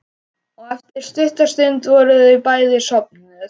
Og eftir stutta stund voru þau bæði sofnuð.